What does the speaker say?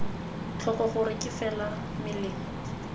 tlhoko gore ke fela melemo